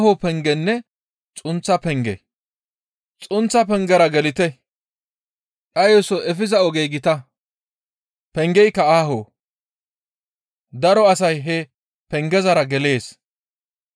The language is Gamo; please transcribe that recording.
«Xunththa pengera gelite; dhayoso efiza ogey gita; pengeyka aaho; daro asay he pengezara gelees.